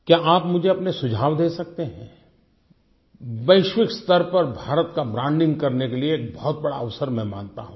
क्या आप मुझे अपने सुझाव दे सकते हैं वैश्विक स्तर पर भारत का ब्रांडिंग करने के लिए एक बहुत बड़ा अवसर मैं मानता हूँ